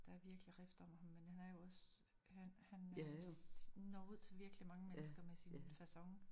Der virkelig rift om ham men han er jo også han han øh når ud til virkelig mange mennesker med sin facon